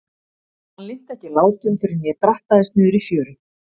Hann linnti ekki látum fyrr en ég drattaðist niður í fjöru.